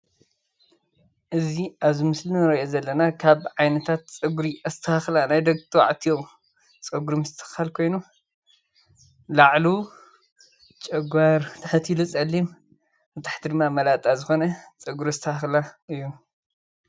እዚ ኣብዚ ምስሊ እንሪኦ ዘለና ካብ ዓይነታት ፀገየሪ ኣስተካክላ ናይ ደቂ ተባዕትዮ ፀጉሪ ምስትክካል ኮይኑ ላዕሉ ጨጓር ትሕት ኢሉ ፀሊም ብታሕቲ ድማ መላጣ ዝኮነ ፀጉሪ ኣስተካክላ እዩ፡፡